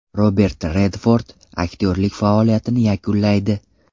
Robert Redford aktyorlik faoliyatini yakunlaydi.